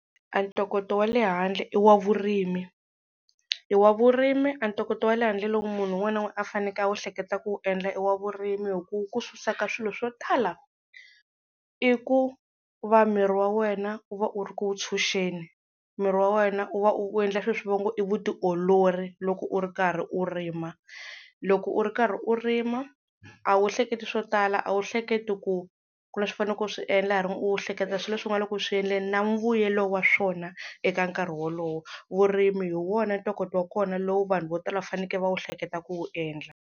A ntokoto wa le handle i wa vurimi, i wa vurimi a ntokoto wa le handle loko munhu un'wana na un'wana a faneleke a wu ehleketa ku wu endla i wa vurimi hi ku wu ku susa ka swilo swo tala. I ku va miri wa wena u va u ri ku wu tshunxeni. Miri wa wena u va u endla swilo leswi va ngo i vutiolori, loko u ri karhi u rima. Loko u ri karhi u rima a wu hleketi swo tala, a wu hleketi ku ku na leswi u fanele ku swi endla u hleketa swilo leswi u nga le ku swi endleni na mbuyelo wa swona eka nkarhi wolowo. Vurimi hi wona ntokoto wa kona lowu vanhu vo tala va fanekele va wu hleketa ku wu endla.